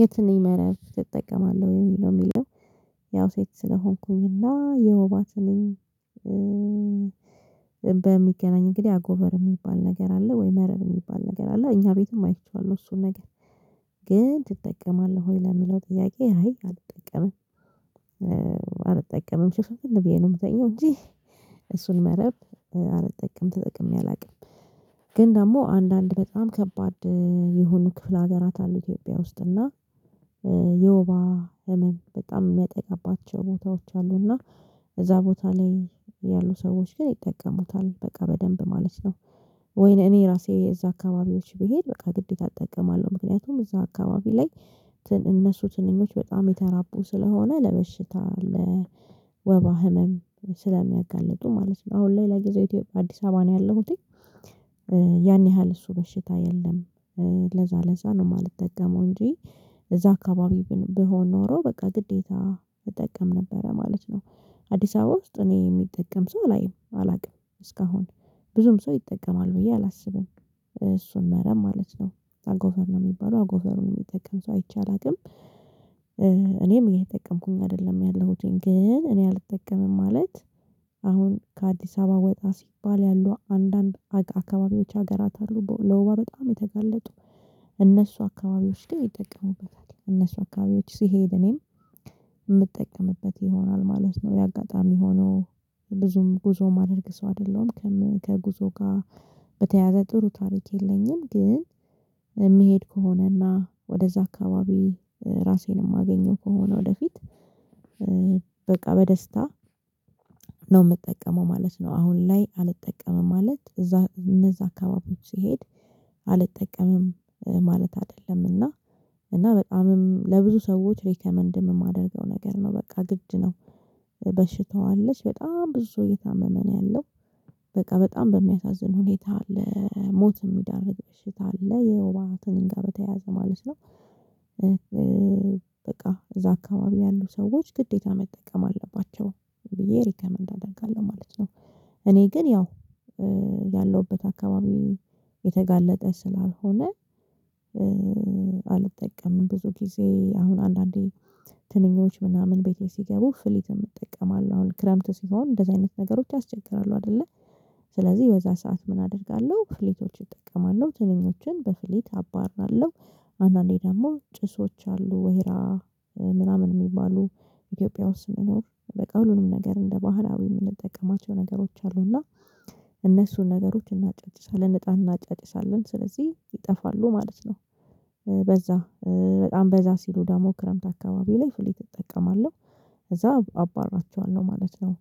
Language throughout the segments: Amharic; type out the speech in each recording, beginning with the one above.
የትንኝ መርብ ትጠቀማለህ ወይ ለሚለው? ያው ሴት ስለሆንኩኝ እና የውባ ትንኝ በሚገናኝ እንግዲህ አጎበር የሚባል ነገር አለ ወይ መረብ የሚባል ነገር አለ እኛ ቤትም አይቼዋለሁ እሱን ነገር። ግን ትጠቀማለህ ወይ ለሚለው ጥያቄ አይ አልጠቀምም ሽፍንልን ብዬ ነው የምተኛው እንጂ እሱን መረብ አልጠቀም ተጠቅሜ አላውቅም። ግን ደግሞ አንዳንድ በጣም ከባድ የሆነ ክፍለ ሀገራት አሉ ኢትዮጵያ ውስጥ እና የውባ ህመም በጣም የሚያጠቃባቸው ቦታዎች አሉና እዛ ቦታ ላይ ያሉ ሰዎች ግን ይጠቀሙታል በቃ በደንብ ማለት ነው። ወይ እኔ ራሴ እዛ አካባቢዎች ብሄድ በቃ ግዴታ እጠቀማለሁ ምክንያቱም እዛ አካባቢ ላይ እነሱ ትንኞች በጣም የተራቡ ስለሆነ ለበሽታ ለወባ ህመም ስለሚያጋልጡ ማለት ነው። አሁን ላይ ለጊዜው ኢትዮጵያ አዲስ አበባ ነው ያለሁት። ያን ያህል እሱ በሽታ የለም። ለዛ ለዛ ነው የማልጠቀመው እንጂ እዛ አካባቢ ቢሆን ኖሮ በቃ ግዴታ እጠቀም ነበረ ማለት ነው። አዲስ አበባ ውስጥ እኔ የሚጠቀም ሰው አላየም አላውቅም እስካሁን ብዙም ሰው ይጠቀማል ብዬ አላስብም። እሱን መረብ ማለት ነው አጎበር ነው የሚባለው አጎበር የሚጠቀም ሰው አይቼ አላውቅም። እኔም እየተጠቀምኩኝ አይደለም ያለሁትኝ ግን እኔ አልጠቀምም ማለት። አሁን ከአዲስ አበባ ወጣ ሲባል ያሉ አንዳንድ አካባቢዎች ሀገራት አሉ ለወባ በጣም የተገለጡ። እነሱ አካባቢዎች ጋር የሚጠቀሙበት እነሱ አካባቢዎች ሲሄድ እኔም የምጠቀምበት ይሆናል ማለት ነው። የአጋጣሚ ሆኖ ብዙም ጉዞ ማድረግ ሰው አይደለም። ከጉዞ ጋር በተያያዘ ጥሩ ታሪክ የለኝም ግን። የሚሄድ ከሆነና ወደዛ አካባቢ ራሴን የማገኘው ከሆነ ወደፊት በቃ በደስታ ነው የምጠቀመው ማለት ነው። አሁን ላይ አልጠቀመም ማለት እዛ እነዛ አካባቢዎች ሲሄድ አልጠቀምም። ማለት አይደለምና እና በጣምም ለብዙ ሰዎች ሪከመንድ የማደርገው ነገር ነው በቃ ግድ ነው። በሽታዋ አለች በጣም ብዙ ሰው እታመመ ነው ያለው በቃ በጣም በሚያሳዝን ሁኔታ ለሞት የሚዳርግ በሽታ አለ የውባ ትንኝ ጋር በተያያዘ ማለት ነው። በቃ እዛ አካባቢ ያሉ ሰዎች ግዴታ መጠቀም አለባቸው ብየ ሪከመንድ አደርጋለሁ ማለት ነው። እኔ ግን ያው ያለሁበት አካባቢ የተጋለጠ ስላልሆነ። አልጠቀምም ብዙ ጊዜ አሁን አንዳንዴ ትንኞች ምናምን ቤቴ ሲገቡ ፍሊተር እጠቀማለሁ። አሁን ክረምት ሲሆን እንደዚህ አይነት ነገሮች ያስቸግራሉ አደለ። ስለዚህ በዛ ሰዓት ምን አደርጋለሁ ፍሊቶችን እጠቀማለሁ ትንኞችን በፍሊት አባራለሁ። አንዳንዴ ደግሞ ጭሶች አሉ ወሄራ ምናምን የሚባሉ ኢትዮጵያ ውስጥ መኖር በቃ ሁሉንም ነገር እንደ ባህላዊ የምንጠቀማቸው ነገሮች አሉ እና። እነሱን ነገሮች እናጨጭሳለን እጣን እናጨጭሳለን ስለዚህ ይጠፋሉ ማለት ነው። በዛ በጣም በዛ ሲሉ ደግሞ ክረምት አካባቢ ላይ ፍሊት እጠቀማለሁ። ከዛ አባርራቸዋለው ማለት ነው።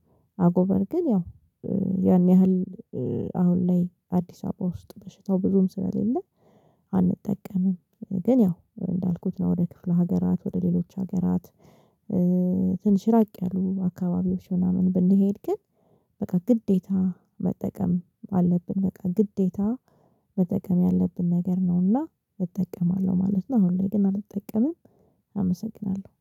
አጎበር ግን ያው ያን ያህል አሁን ላይ አዲስ አበባ ውስጥ በሽታው ብዙም ስለሌለ አንጠቀምም። ግን ያው እንዳልኩት ነው ወደ ክፍለ ሀገራት ወደ ሌሎች ሀገራት። ትንሽ ራቅ ያሉ አካባቢዎች ምናምን ብንሄድ ግን በቃ ግዴታ መጠቀም አለብን በቃ ግዴታ መጠቀም ያለብን ነገር ነውና እጠቀማለሁ ማለት ነው። አሁን ላይ ግን አልጠቀምም አመሰግናለሁ።